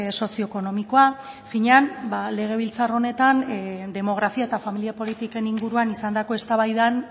sozio ekonomikoa finean legebiltzar honetan demografia eta familia politiken inguruan izandako eztabaidan